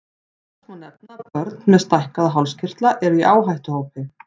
Loks má nefna að börn með stækkaða hálskirtla eru í áhættuhópi.